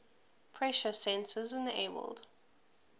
pressure sensors enabled